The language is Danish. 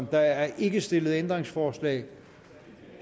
der er ikke stillet ændringsforslag